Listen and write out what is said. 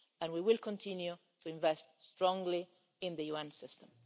We will continue to invest strongly in the UN system.